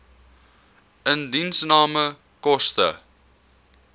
indiensname koste